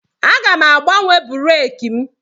Aga m agbanwe breeki m.